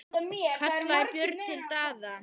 kallaði Björn til Daða.